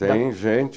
Tem gente...